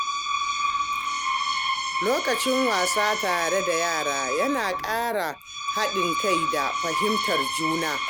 Lokacin wasa tare da yara yana ƙara haɗin kai da fahimtar juna.